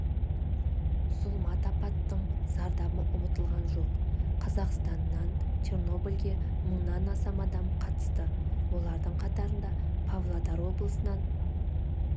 зұлмат апаттың зардабы ұмытылған жоқ қазақстаннан чернобыльге мыңнан астам адам қатысты олардың қатарында павлодар облысынан